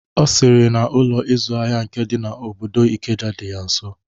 Ọ sịrị na Ụlọ ịzụ ahịa nke dị n'obodo Ikeja dị ya nso.